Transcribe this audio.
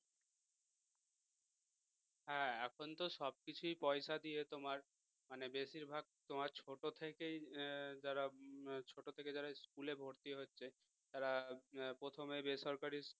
এখন তো সব কিছুই পয়সা দিয়ে তোমার মানে বেশিরভাগ তোমার ছোট থেকেই যারা ছোট থেকেই যারা school এ ভর্তি হচ্ছে তার প্রথমে বেসরকারী